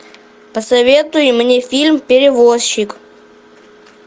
посоветуй мне фильм перевозчик